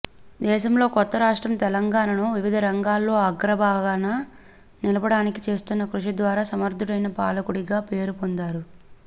దేశంలోని కొత్త రాష్ట్రం తెలంగాణను వివిధ రంగాల్లో అగ్రభాగాన నిలపడానికి చేస్తున్న కృషి ద్వాారా సమర్థుడైన పాలకుడిగా పేరు పొందారు